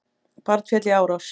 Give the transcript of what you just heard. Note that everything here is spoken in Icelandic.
Barn féll í árás